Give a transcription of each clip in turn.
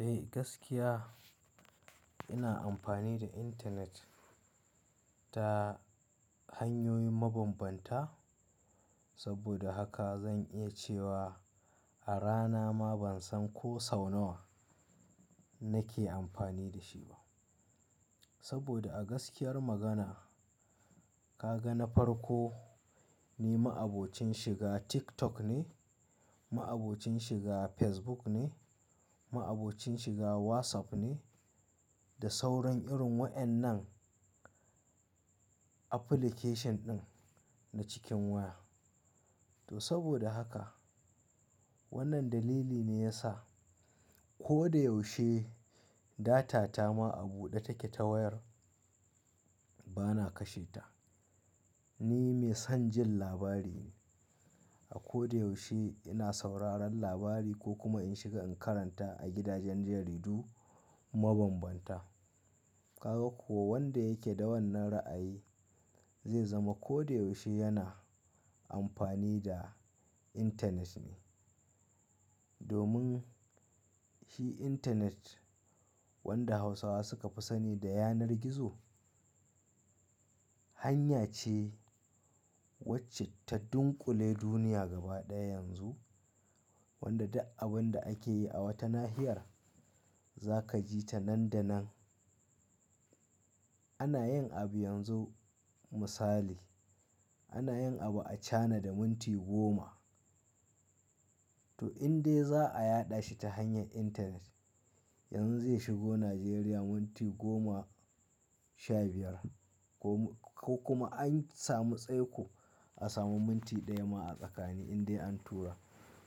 Eh gaskiya ina amfani da intanet ta hanyoyin mabambanta saboda haka zan iya cewa a rana ma ban san ko sau nawa nake amfani da shi ba. Saboda a gaskiyar magana ka ga na farko ni ma'abocin shiga TikTok ne, ma'abocin shiga Facebook ne, ma'abocin shiga WhatsApp ne da sauran irin wa'ennan application ɗin na cikin waya. To saboda haka wannan dalili ne ya sa ko da yaushe data ta ma a buɗe take ta wayar bana kashe ta. Ni mai son jin labari ne, a ko da yaushe ina sauraron labari ko kuma in shiga in karanta a gidajen jaridu mabambanta. Ka ga kuwa wanda yake da wannan ra'ayi zai zama ko da yaushe yana amfani da intanet ne. Domin shi intanet wanda Hausawa suka fi sani da yanar gizo, hanya ce wacce ta dunkule duniya gaba ɗaya yanzu, wanda duk abin da ake yi a wata nahiyar za ka ji ta nan da nan. Ana yin abu yanzu misali, ana yin abu a China da minti goma to in dai za a yaɗa shi ta hanyar intanet yanzu zai shigo Najeriya minti goma sha biyar ko kuma an samu tsaiko a samu minti ɗaya ma a tsakani in dai an tura.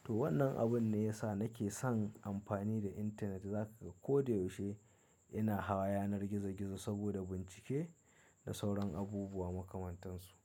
To wannan abun ne ya sa nake son amfani da intanet, za ka ga ko da yaushe ina hawa yanar gizo gizo saboda bincike da sauran abubuwa makamantan su.